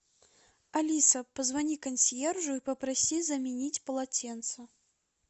алиса позвони консьержу и попроси заменить полотенце